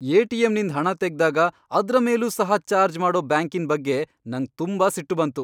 ಎಟಿಎಂನಿಂದ್ ಹಣ ತೆಗ್ದಾಗ ಅದ್ರ ಮೇಲೂ ಸಹ ಚಾರ್ಜ್ ಮಾಡೋ ಬ್ಯಾಂಕಿನ್ ಬಗ್ಗೆ ನಂಗ್ ತುಂಬಾ ಸಿಟ್ಟು ಬಂತು.